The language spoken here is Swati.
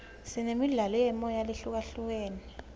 sinemidlalo yemoya lehlukahlukene